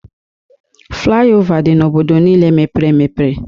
Fliova dị n'obodo niile mepere emepe